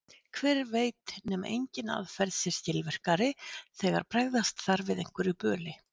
Hver veit nema engin aðferð sé skilvirkari þegar bregðast þarf við einhverju böli.